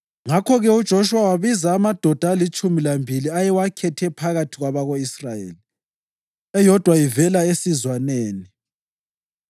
Ngakho-ke uJoshuwa wabiza amadoda alitshumi lambili ayewakhethe phakathi kwabako-Israyeli, eyodwa ivela esizwaneni.